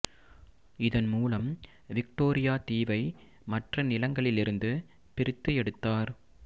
இதன் மூலம் விக்டோரியா தீவை மற்ற நிலங்களிலிருந்து பிரித்து எடுத்தார்